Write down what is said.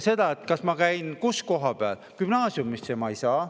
Muudate seda, et kus kohapeal ma käin.